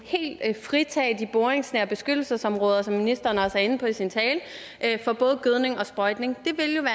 fritage de boringsnære beskyttelsesområder som ministeren også er inde på i sin tale for både gødning og sprøjtning